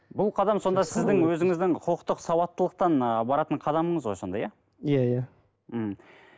бұл қадам сонда сіздің өзіңіздің құқықтық сауаттылықтан ы баратын қадамыңыз ғой сонда иә иә иә мхм